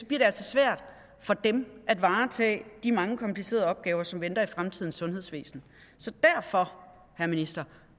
det altså svært for dem at varetage de mange komplicerede opgaver som venter i fremtidens sundhedsvæsen så derfor herre minister